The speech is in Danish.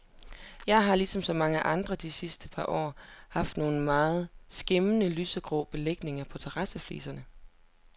Jeg har ligesom så mange andre de sidste par år haft nogle meget skæmmende lysegrå belægninger på terrassefliserne.